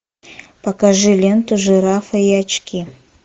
покажи ленту жирафа и очки